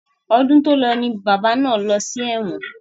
Ọdún tòlọ ni bàbá náà lọ sí ẹ̀wọ̀n.